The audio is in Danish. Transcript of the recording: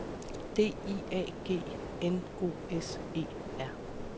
D I A G N O S E R